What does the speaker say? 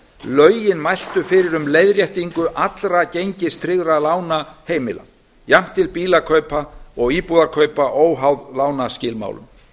lögin mæltu fyrir um leiðréttingu allra gengistryggðra lána heimila jafnt til bílakaupa og íbúðakaupa óháð lánaskilmálum